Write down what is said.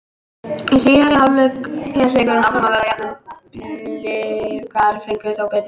Í síðari hálfleik hélt leikurinn áfram að vera jafn en Blikar fengu þó betri færi.